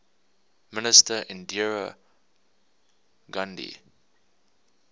minister indira gandhi